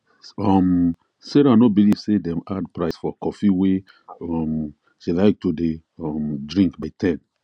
um sarah no believe say dem add price for coffee wey um she like to dey um drink by 10